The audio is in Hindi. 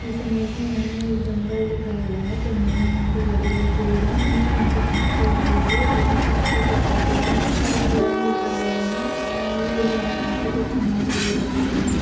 इस इमेज में हमें एक जंगल दिखाया गया है। जंगल में यहाँ पे बड़े-बड़े पेड़ हैं। नीचे यहाँ पे घास लगी हुई है जिसमें छोटे-छोटे पौधे भी हैं और हिरन दिखाए गये हैं। अ ये यहाँ पे कुछ घास वगैरा खा रहे हैं।